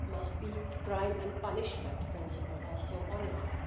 enough. There must be a crime and punishment' principle also